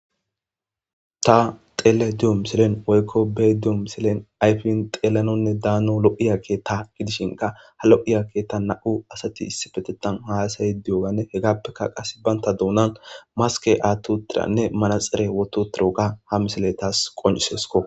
Ta xeele diyo misilen oykko bee diyo misilen ayfin xeelanonne daano lo'iyake ta gidishinka ha lo'iya keta na'u asati issipetetan haayasay diyogane hegappeka qass baynta duunan maske attutiranne manaxere woto tiroka ha misile taas qoncisesko